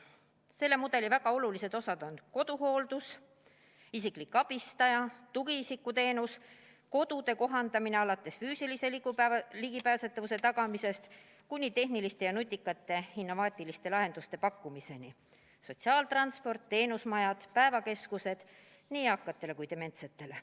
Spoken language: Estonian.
Selle mudeli väga olulised osad on koduhooldus, isiklik abistaja, tugiisiku teenus, kodude kohandamine alates füüsilise ligipääsetavuse tagamisest kuni tehniliste ja nutikate innovaatiliste lahenduste pakkumiseni, sotsiaaltransport, teenusmajad ja päevakeskused nii eakatele kui ka dementsetele.